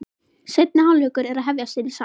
Seinni hálfleikur er að hefjast inni í sal.